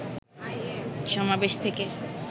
সমাবেশ থেকে